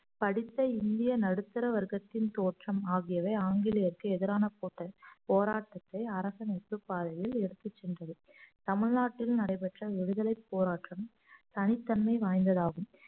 படித்த இந்திய நடுத்தர வர்க்கத்தின் தோற்றம் ஆகியவை ஆங்கிலேயருக்கு எதிரானது போராட்டத்தை அரசமைப்புப் பாதையில் எடுத்துச் சென்றது தமிழ்நாட்டில் நடைபெற்ற விடுதலைப் போராட்டம் தனித்தன்மை வாய்ந்ததாகும்